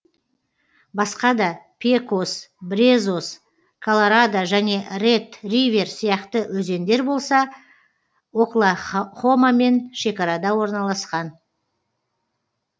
басқа да пекос брезос колорадо және ред ривер сияқты өзендер болса оклах хомамен шекарада орналасқан